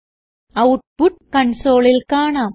output കൺസോളിൽ കാണാം